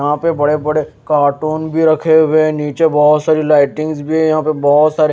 यहाँ पे बड़े बड़े कार्टून भी रखे हुए हैं नीचे बहुत सारी लाइटिंग्स भी है यहाँ प बहुत सारे --